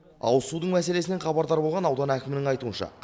ауызсудың мәселесінен хабардар болған аудан әкімінің айтуынша